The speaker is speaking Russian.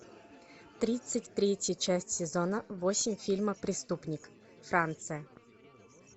тридцать третья часть сезона восемь фильма преступник франция